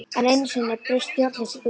Enn einu sinni braust stjórnleysið út.